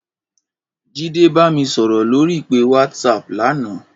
Jide bá mi sòrò lóri ipé wàtsáp làná